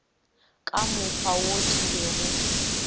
ka mokgwa wo ke bego